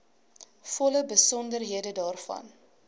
volle besonderhede daarvan